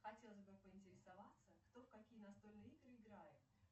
хотелось бы поинтересоваться кто в какие настольные игры играет